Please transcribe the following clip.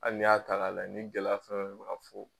Hali n'i y'a ta ka lajɛ ni gɛlɛya fɛn o fɛn bɛ ka fɔ